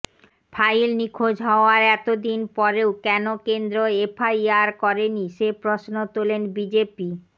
file নিখোঁজ হওয়ার এতদিন পরেও কেন কেন্দ্র এফআইআর করেনি সে প্রশ্ন তোলেন বিজেপি